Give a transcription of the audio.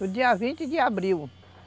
No dia vinte de abril.